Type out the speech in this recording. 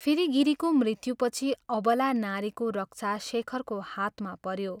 फेरि गिरीको मृत्युपछि अबला नारीको रक्षा शेखरको हातमा पऱ्यो ।